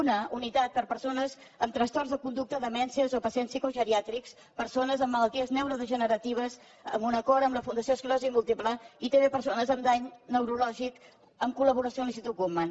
una unitat per a persones amb trastorns de conducta demències o pacients psicogeriàtrics persones amb malalties neurodegeneratives amb un acord amb la fundació esclerosi múltiple i també persones amb dany neurològic en col·laboració amb l’institut guttmann